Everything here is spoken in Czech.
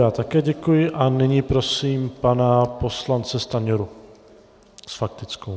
Já také děkuji a nyní prosím pana poslance Stanjuru s faktickou.